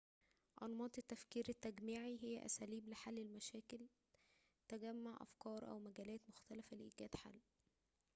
أنماط التفكير التجميعي هي أساليب لحل المشاكل تجمع أفكار أو مجالات مختلفة لإيجاد حل